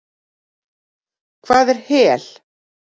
Hvað er hel?